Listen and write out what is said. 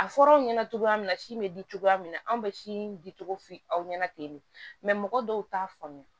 A fɔra aw ɲɛna cogoya min na si bɛ di cogoya min na an bɛ si di cogo f'i aw ɲɛna ten de mɔgɔ dɔw t'a faamuya